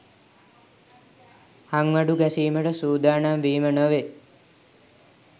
හංවඩු ගැසීමට සූදානම් වීම නොවේ.